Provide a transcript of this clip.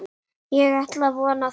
Ég ætla að vona það.